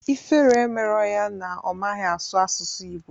Ifere emerọ ya na ọ maghị asụ asụsụ Ịgbo